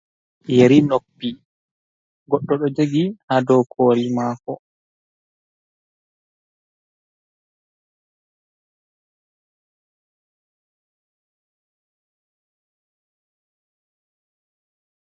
Yeri noppi, goɗɗo do jogi ha dow koli maako.